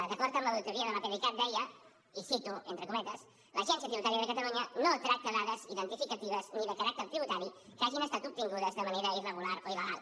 d’acord amb l’auditoria de l’apdcat deia i ho cito entre cometes l’agència tributària de catalunya no tracta dades identificatives ni de caràcter tributari que hagin estat obtingudes de manera irregular o il·legal